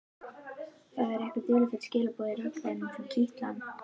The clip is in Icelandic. Það eru einhver dularfull skilaboð í raddblænum sem kitla hann.